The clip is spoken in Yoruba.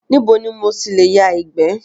Níbo ni mo tilè yà ìgbẹ́?